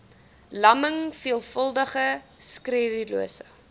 lamming veelvuldige sklerose